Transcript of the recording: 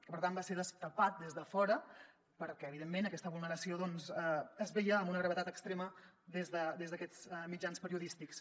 per tant va ser destapat des de fora perquè evidentment aquesta vulneració doncs es veia amb una gravetat extrema des d’aquests mitjans periodístics